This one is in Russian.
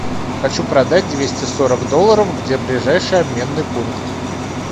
хочу продать двести сорок долларов где ближайший обменный пункт